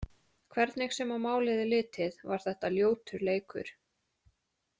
Hvernig sem á málið er litið, var þetta ljótur leikur.